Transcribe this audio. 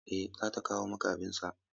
Eh, za ta kawo maka abin sha.